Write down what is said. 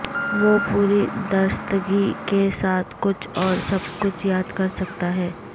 وہ پوری درستگی کے ساتھ کچھ اور سب کچھ یاد کر سکتا ہے